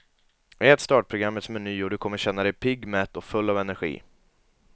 Ät startprogrammets meny och du kommer känna dig pigg, mätt och full av energi.